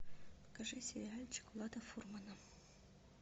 покажи сериальчик влада фурмана